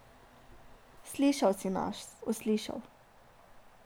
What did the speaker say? Slišal si nas, uslišal.